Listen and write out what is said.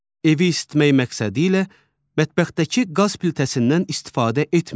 Evi isitmək məqsədilə mətbəxdəki qaz plitəsindən istifadə etməyin.